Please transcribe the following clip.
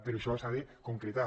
però això s’ha de concretar